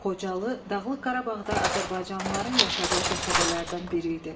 Xocalı Dağlıq Qarabağda azərbaycanlıların yaşadığı qəsəbələrdən biri idi.